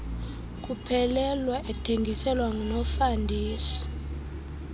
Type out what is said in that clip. kuphelelwa ethengiselwa ngunofandesi